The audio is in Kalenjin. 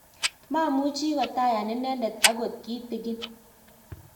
mamuchi kotayan inendet akot kitegen